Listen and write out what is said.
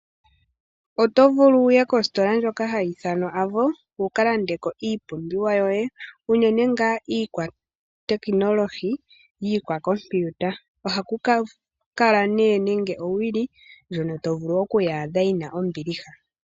Oto vulu wuye kositola ndjoka hayi ithanwa AVO wuka landeko iipumbiwa yoye . Unene ngaa iikwa tekinologi iikwa kompiuta. Ohaku kala nee nande owili ndjono to adha yina ombiliha.